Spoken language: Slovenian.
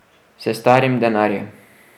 S starim denarjem.